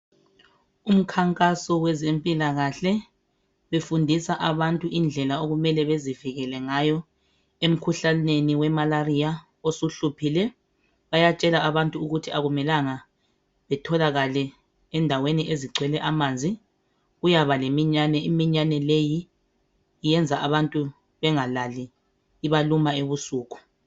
Umkhankaso wezempilakahle befundisa abantu indlela okumele bezivikele ngayo emikhuhlaneni we "malaria" osuhluphile bayatshela abantu ukuthi akumelanga betholakale endaweni ezigcwele amanzi kuyaba leminyane iminyane leyi iyenza abantu bengalali ibaluma ebusuku.